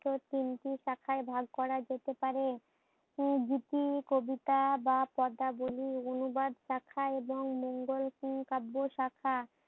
তিনটি শাখায় ভাগ করা যেতে পারে। উম দুটি কবিতা বা পদাবলীর অনুবাদ শাখা এবং মঙ্গোল উম কাব্য শাখা